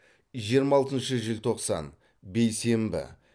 жиырма алтыншы желтоқсан бейсенбі